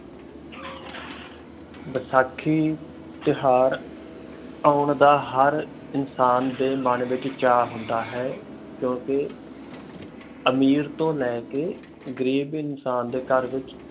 ਬੈਸਾਖੀ ਤਿਉਹਾਰ ਆਉਣ ਦਾ ਹਰ ਇਨਸਾਨ ਦੇ ਮਨ ਵਿਚ ਚਾਅ ਹੁੰਦਾ ਹੈ ਕਿਉਕਿ ਅਮੀਰ ਤੋਂ ਲੈ ਕੇ ਗ਼ਰੀਬ ਇਨਸਾਨ ਦੇ ਘਰ ਵਿਚ